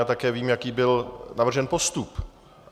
A také vím, jaký byl navržen postup.